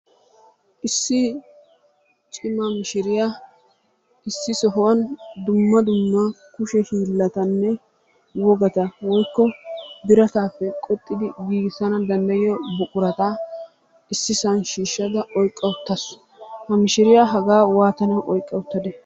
Issi cima mishiriya issi sohuwan dumma dumma kushe hiillatanne wogata woyikko birataappe qoxxidi giigissana danddayiyo buqurata issisan shiishshada oyiqqa uttaasu. Ha mishiriya hagaa waatanawu oyiqqa uttadee?